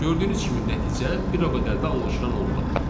Gördüyünüz kimi nəticə elə o qədər də anlaşılan olmadı.